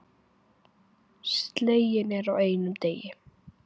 Sleginn er á einum degi.